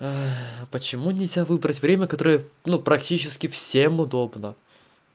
почему нельзя выбрать время которое ну практически всем удобно